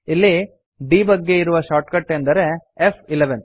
ಇಲ್ಲಿ ಡೆಬಗ್ ಗೆ ಇರುವ ಶಾರ್ಟ್ಕಟ್ ಎಂದರೆ ಫ್11